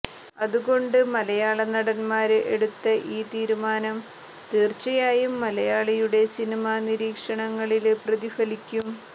അതുകൊണ്ട് മലയാള നടന്മാര് എടുത്ത ഈ തീരുമാനം തീര്ച്ചയായും മലയാളിയുടെ സിനിമാ നീരീക്ഷണങ്ങളില് പ്രതിഫലിക്കും